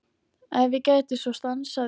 Ef ég gæti svo stansað í